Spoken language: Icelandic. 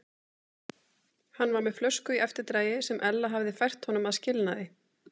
Hann var með flösku í eftirdragi sem Ella hafði fært honum að skilnaði.